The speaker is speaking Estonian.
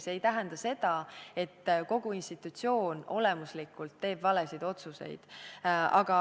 See ei tähenda seda, et kogu institutsioon olemuslikult teeb valesid otsuseid.